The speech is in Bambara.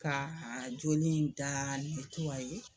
Ka a joli in daa